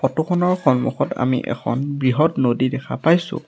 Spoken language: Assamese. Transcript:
ফটো খনৰ সন্মুখত আমি এখন বৃহৎ নদী দেখা পাইছোঁ।